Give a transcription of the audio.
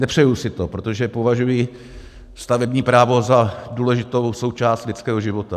Nepřeji si to, protože považuji stavební právo za důležitou součást lidského života.